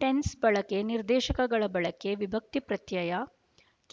tense ಬಳಕೆ ನಿರ್ದೇಶಕಗಳ ಬಳಕೆ ವಿಭಕ್ತಿಪ್ರತ್ಯಯ